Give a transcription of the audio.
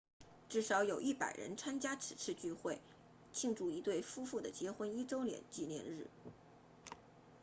至少有100人参加此次聚会庆祝一对夫妇的结婚一周年纪念日